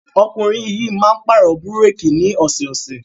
Ọkùnrin yìí máa ń pàrọ̀ búrékì ní ọ̀sẹ̀ẹ̀sẹ̀.